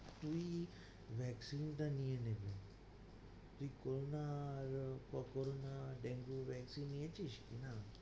তুই vaccine টা নিয়ে নে, তুই , corona, dengue vaccine টা নিয়ে নিয়েছিস? না।